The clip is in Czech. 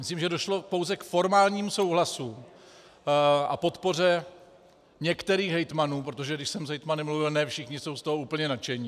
Myslím, že došlo pouze k formálnímu souhlasu a podpoře některých hejtmanů, protože když jsem s hejtmany mluvil, ne všichni jsou z toho úplně nadšení.